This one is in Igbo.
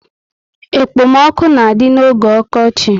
Ekpo m ọkụ na adị n'oge okochi